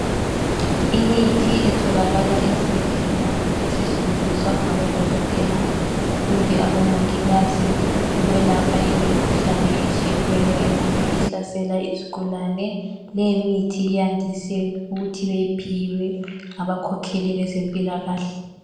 Imithi etholakala ezibhedlela esetshenziswa ngabodokotela kumbe abomongikazi ukwelapha imikhuhlane etshiyeneyo engabe ihlasela izigulane. Leyimithi iyandise ukuthi beyiphiwe ngabakhokheli bezempilakahle.